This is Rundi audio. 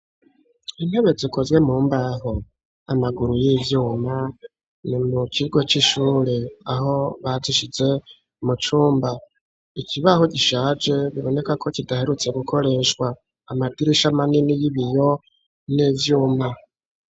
Intebe zikozwe mu mbaho amaguru y'ivyuma ni mu kigo c'ishure aho batishize mu cumba ikibaho gishaje biboneka ko kidaherutse gukoreshwa amadirisha amanini y'ibiyo n'ivyuma.